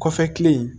Kɔfɛ kilen